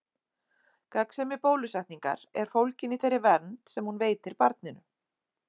Gagnsemi bólusetningar er fólgin í þeirri vernd sem hún veitir barninu.